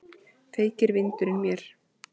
Feykir vindurinn mér.